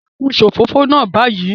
Dekun isofofo naa bayii